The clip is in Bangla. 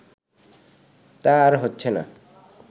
তা আর হচ্ছেনা